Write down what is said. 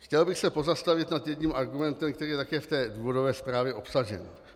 Chtěl bych se pozastavit nad jedním argumentem, který je také v té důvodové zprávě obsažen.